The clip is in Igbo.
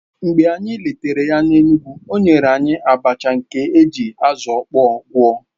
Mgbe anyị letara ya n'Enugwu, o nyere anyị abacha nke e ji azụ̀ ọkpọ gwọ̀